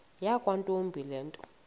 yakwantombi le nto